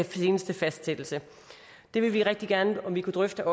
seneste fastsættelse det vil vi rigtig gerne om vi kunne drøfte